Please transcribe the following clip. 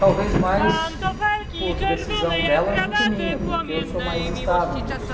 Talvez mais por decisão delas do que minha, uhum, porque eu sou mais estável nisso.